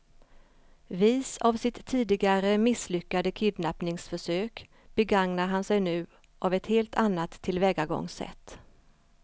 Vis av sitt tidigare misslyckade kidnappningsförsök begagnar han sig nu av ett helt annat tillvägagångssätt.